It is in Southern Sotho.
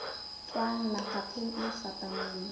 tswang mafapheng a fapaneng a